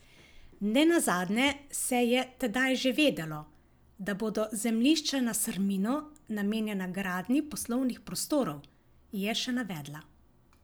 Nenazadnje se je tedaj že vedelo, da bodo zemljišča na Srminu namenjena gradnji poslovnih prostorov, je še navedla.